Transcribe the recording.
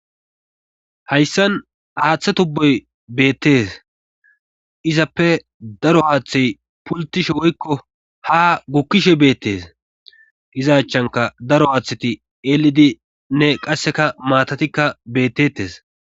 Hayssan aaththe tubboy beettes izappe daro haaththey pultishe woykko ha gukkishe beettes izachanka daro haaththeti eelidi nne qasseka maatatikka bettettes.